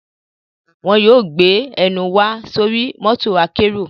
Wọn yóò gbé ẹnù wa sóri mọ́tò akẹ́rù